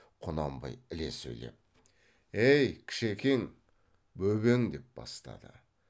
құнанбай іле сөйлеп ей кішекең бөбең деп бастады